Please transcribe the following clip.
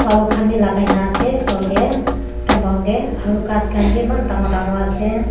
lakai na ase floor tae compound tae aru ghas khan bi eman dangor dangor ase.